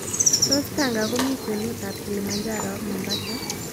Tos' tanga komi kwenutab kilimanjaro ak mombasa